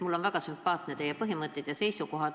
Mulle on väga sümpaatsed teie põhimõtted ja seisukohad.